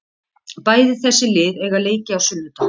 Bæði þessi lið eiga leiki á sunnudag.